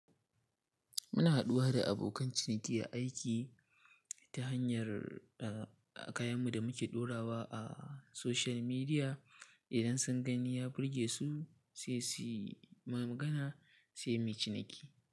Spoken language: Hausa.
Muna haɗuwa da abokan ciniki a aiki ta hanyar, ah, kayanmu da muke ɗorawa a social media. Idan sun gani ya burgesu, sai suyi magana sai muyi ciniki.